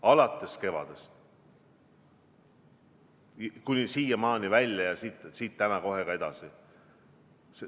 Alates kevadest kuni siiamaani välja ja siit täna kohe ka edasi.